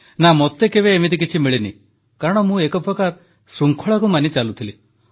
ନା ମୋତେ କେବେ ଏମିତି କିଛି ମିଳିନି କାରଣ ମୁଁ ଏକ ପ୍ରକାର ଶୃଙ୍ଖଳାକୁ ମାନି ଚାଲୁଥିଲି